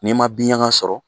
N'i ma binɲaga sɔrɔ